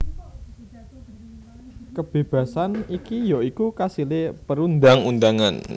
Kebébasan iki ya iku kasilé perundang undangan